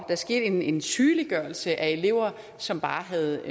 der skete en en sygeliggørelse af elever som havde